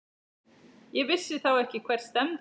Ég vissi þá ekki hvert stefndi.